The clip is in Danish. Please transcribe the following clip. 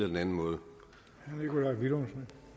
man må jo